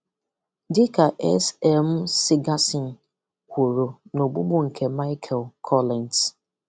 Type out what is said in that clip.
Dị ka S. M. Sigerson kwùrù n’ogbùgbù nke Michael Collins: